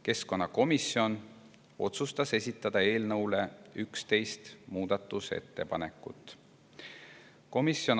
Keskkonnakomisjon otsustas esitada 11 muudatusettepanekut.